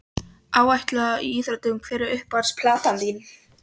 Alæta á íþróttir Hver er uppáhalds platan þín?